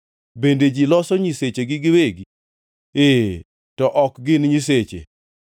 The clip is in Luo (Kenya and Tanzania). Bende ji loso nyisechegi giwegi? Ee, to ok gin nyiseche!”